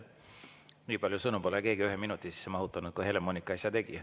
Nii palju sõnu pole keegi ühe minuti sisse mahutanud, kui Helle-Moonika äsja tegi.